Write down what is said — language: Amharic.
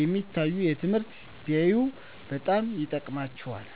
የሚታዩ ትምህርቶችን ቢያዩ በጣም ይጠቅማቸዋል።